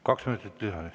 Kaks minutit lisaaega.